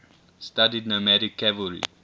studied nomadic cavalry